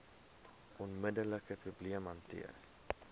onmiddelike probleem hanteer